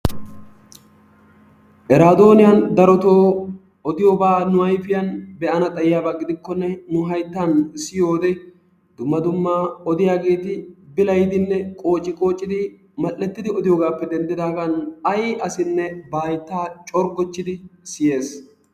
eradooniyaan darotoo odiyooba nu ayfiyaan be'ana xayyiyaaba gidikkonne nu hayttan siyyiyoode dumma dumma odiyaageeti bilayyidinne qoocciqoocidi mal''ettidi odiyoogappe denddidaagan ay asinne ba haytta corggochchidi siyyees.